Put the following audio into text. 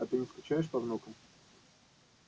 а ты не скучаешь по внукам